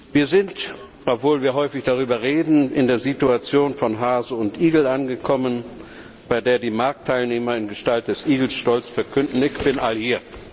Wir sind, obwohl wir häufig darüber reden, in der Situation von Hase und Igel angekommen, bei der die Marktteilnehmer in Gestalt des Igels stolz verkünden Ick bün all hier.